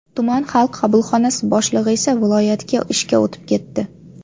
Tuman Xalq qabulxonasi boshlig‘i esa viloyatga ishga o‘tib ketdi.